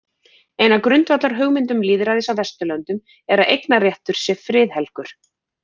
Ein af grundvallarhugmyndum lýðræðis á Vesturlöndum er að eignarrétturinn sé friðhelgur.